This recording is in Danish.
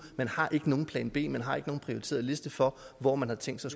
man har ikke nogen plan b man har ikke nogen prioriteret liste for hvor man har tænkt sig